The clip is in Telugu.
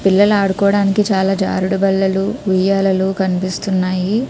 పిల్లలు ఆదుకోవోడానికి చాలా జారులు బండలు ఉయ్యాలలు కనిపిస్తున్నాయి.